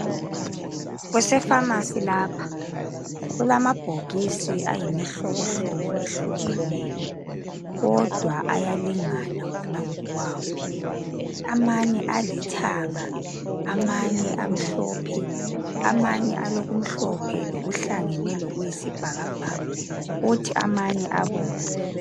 Kusefamasi lapha, kulamabhokisi ayimihlobohlobi ehlukeneyo kodwa ayalingana wona ngokwawo, amanye alithanga, amanye amhlophe, amanye lokumhlophe okuhlangene lokuyisibhakabhaka kuthi amanye abomvu.